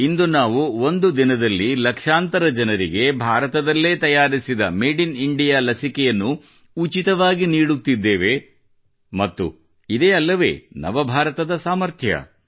ಇಂದು ನಾವು ಒಂದು ದಿನದಲ್ಲಿ ಲಕ್ಷಾಂತರ ಜನರಿಗೆ ಭಾರತದಲ್ಲೇ ತಯಾರಿಸಿದ ಮಾಡೆ ಇನ್ ಇಂಡಿಯಾ ಲಸಿಕೆಯನ್ನು ಉಚಿತವಾಗಿ ನೀಡುತ್ತಿದ್ದೇವೆ ಮತ್ತು ಇದೇ ಅಲ್ಲವೇ ನವ ಭಾರತದ ಸಾಮರ್ಥ್ಯ